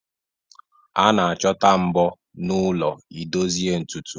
A na-achọta mbọ n'ụlọ ị dozie ntutu